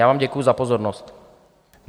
Já vám děkuji za pozornost.